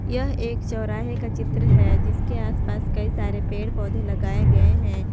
यह एक चौराहे का चित्र है जिसके आसपास कई सारे पेड़ पौधे लगाए गए हैं।